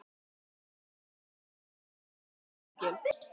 En hvað hún var öll orðin stór og fyrirferðarmikil.